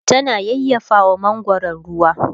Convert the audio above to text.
tana yayyafawa mangwaron ruwa